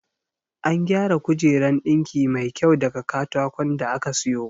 An gyara kujeran ɗinki mai kyau daga katakon da aka sayo